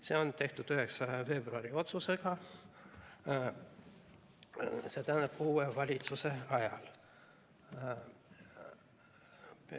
See otsus tehti 9. veebruaril, st uue valitsuse ajal.